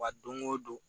Wa don o don